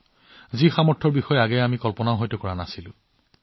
যিবোৰ লক্ষ্য যিবোৰ আমি আগতে কল্পনাও কৰা নাছিলো